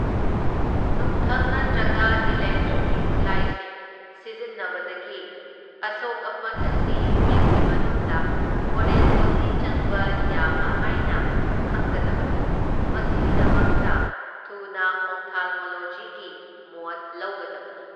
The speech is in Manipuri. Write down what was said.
ꯅꯨꯡꯙꯪ ꯅꯠꯇ꯭ꯔꯒ ꯏꯂꯦꯛꯇ꯭ꯔꯤꯛꯀꯤ ꯈꯨꯠꯂꯥꯏꯁꯤꯡ ꯁꯤꯖꯤꯟꯅꯕꯗꯒꯤ ꯑꯁꯣꯛ ꯑꯄꯟ ꯑꯁꯤ ꯃꯤꯠꯀꯤ ꯃꯅꯨꯡꯗ ꯐꯣꯔꯦꯟ ꯕꯣꯗꯤ ꯆꯪꯕ ꯌꯥꯕ ꯍꯥꯏꯅ ꯈꯪꯒꯗꯕꯅꯤ, ꯃꯁꯤꯒꯤꯗꯃꯛꯇ ꯊꯨꯅ ꯑꯣꯐꯊꯥꯜꯃꯣꯂꯣꯖꯤꯒꯤ ꯃꯣꯠ ꯂꯧꯒꯗꯕꯅꯤ꯫